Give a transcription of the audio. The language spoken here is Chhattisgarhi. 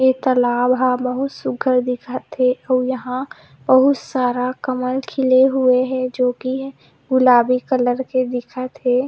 एक तालाब ह बहुत सुघर दिखत हे अउ यहाँ बहुत सारा कमल खिले हुए है जोकि गुलाबी कलर के दिखत हे।